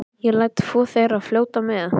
Ég læt tvö þeirra fljóta með.